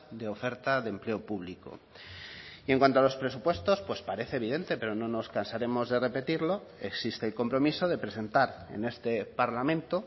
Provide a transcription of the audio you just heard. de oferta de empleo público y en cuanto a los presupuestos pues parece evidente pero no nos cansaremos de repetirlo existe el compromiso de presentar en este parlamento